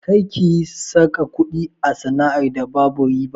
Kar kiyi saka kuɗi a sana'ar da babu riba!